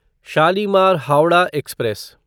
Shalimar Howrah express